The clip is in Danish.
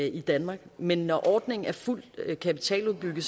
i danmark men når ordningen er fuldt kapitaludbygget